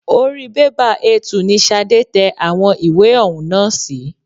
Orí bẹ́bà A2 ni Sade tẹ àwọn ìwé ọ̀hún nà sí.